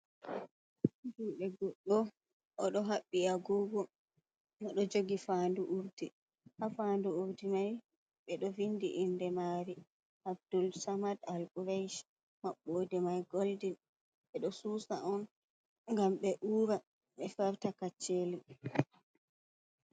Himbe goɗɗo o ɗo haɓbi agogo o ɗo jogi faandu urdi, haa faandu urdi mai ɓe ɗo winndi inde maari Abdul samad albreyj, maɓɓoode mai goldin ɓe ɗo suusa on ngam ɓe uura, ɓe farta kacceeli.